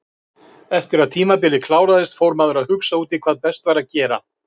Eftir að tímabilið kláraðist fór maður að hugsa út í hvað best væri að gera.